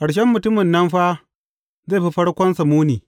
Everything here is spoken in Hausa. Ƙarshen mutumin nan fa zai fi farkonsa muni.